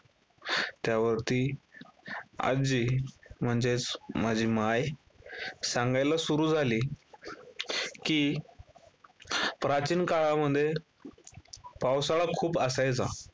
त्यावरती आजी म्हणजेच माझी माय सांगायला सुरू झाली, की प्राचीन काळामध्ये पावसाळा खूप असायचा.